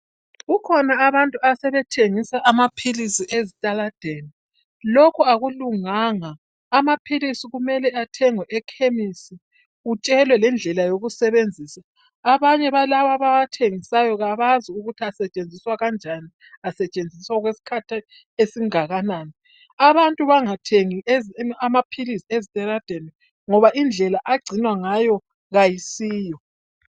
Kukhona abantu asebethengisa amaphilisi ezitaladeni. Lokhu akulunganga amaphilisi kumele athengwe ekhemisi utshelwe lendlela yokusebenzisa. Abanye balawa abawathengisayo abakwazi ukuthi asetshenziswa kanjani, asetshenziswa okwesikhathi esingakanani. Abantu bangathengi amaphilisi ezitaladeni ngoba indlela agcinwa ngayo kayisiyo.